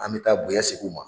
An bɛ taa bonya segin u ma.